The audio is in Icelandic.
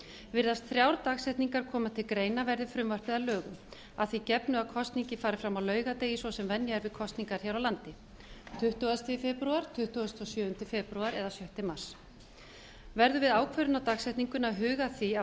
virðast þrjár dagsetningar geta komið til greina verði frumvarpið að lögum að því gefnu að kosningin fari fram á laugardegi svo sem venja er við kosningar hér á landi tuttugasta febrúar tuttugasta og sjöunda febrúar eða sjötta mars verður við ákvörðun á dagsetningunni að huga að því að